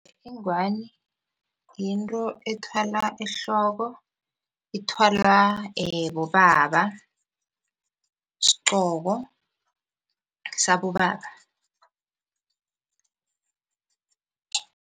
Ingwani yinto ethwalwa ehloko, ithwalwa bobaba sigqoko sabobaba.